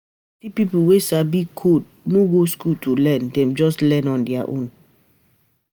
Plenty people wey sabi code no go school to learn, Dem just learn on their own.